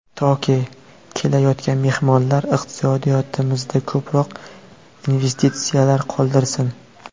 Toki, kelayotgan mehmonlar iqtisodiyotimizda ko‘proq investitsiyalar qoldirsin.